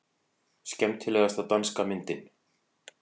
Skemmtilegasta danska myndin